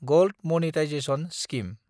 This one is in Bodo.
gold monetisation scheme